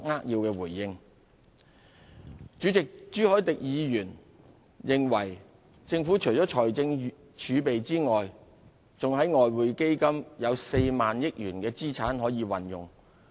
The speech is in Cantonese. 代理主席，朱凱廸議員認為政府除了財政儲備外，在外匯基金有 40,000 億元的資產可以運用。